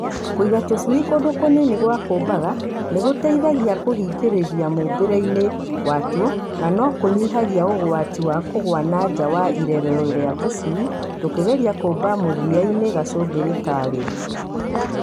Kũigĩra tũcui kũndũ kũnini gwa kũmbaga nĩgũtũteithagia kũhĩgĩrĩra mũmbĩre-inĩ watuo na no kũnyihagia ũgwati wa kũgwa na nja wa irerero rĩa tũcui tũkĩgeria kũmba mũthia-inĩ gacũmbĩrĩ ka rĩo.